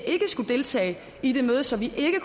ikke skulle deltage i det møde så vi